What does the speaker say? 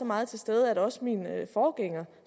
meget til stede at også min forgænger